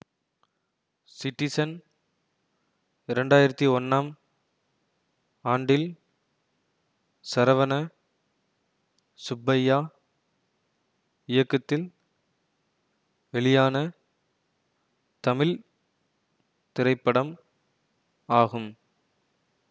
citizen இரண்டு ஆயிரத்தி ஒன்னாம் ஆண்டில் சரவண சுப்பையா இயக்கத்தில் வெளியான தமிழ் திரைப்படம் ஆகும்